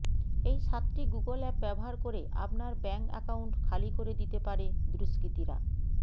এই সাতটি Google app ব্যবহার করে আপনার ব্যাঙ্ক অ্যাকাউন্ট খালি করে দিতে পারে দুষ্কৃতীরা